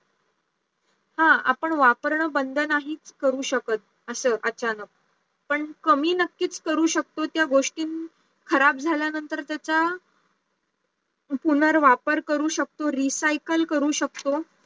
हा आपण वापरणं बंद नाही करू शकत असं अचानक पण कमी नक्कीच करू शकतो त्या गोष्टी खराब झाल्यानंतर त्याचा पुनर्वापर करू शकतो recycle करू शकतो